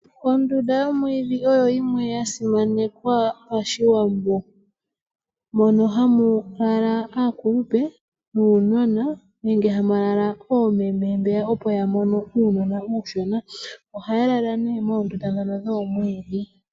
Ondunda yomwiidhi oyo yimwe yasimanekwa pashiwambo, mono hamu lala aakulupe nuunona nenge hamu lala oomeme mba opo yamono uunona uushona. Ano ohaya lala nee moondunda dhono dhoomwiidhi.